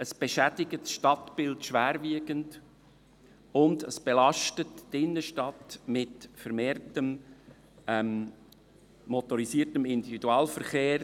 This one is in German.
Es beschädigt das Stadtbild schwerwiegend und belastet die Innenstadt mit vermehrtem motorisiertem Individualverkehr.